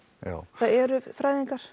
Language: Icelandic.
það eru fræðingar